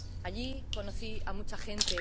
Allí conocí a mucha gente